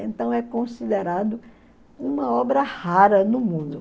Então é considerado uma obra rara no mundo.